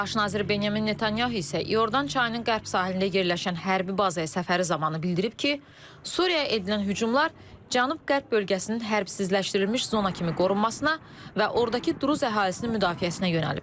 Baş nazir Benyamin Netanyahu isə İordan çayının Qərb sahilində yerləşən hərbi bazaya səfəri zamanı bildirib ki, Suriyaya edilən hücumlar Cənub-Qərb bölgəsinin hərbsizləşdirilmiş zona kimi qorunmasına və ordakı Druzi əhalisinin müdafiəsinə yönəlib.